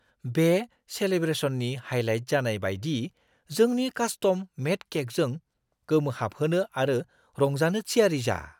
बे सेलेब्रेसननि हाइलाइट जानाय बायदि जोंनि कास्टम-मेड केकजों गोमोहाबहोनो आरो रंजानो थियारि जा!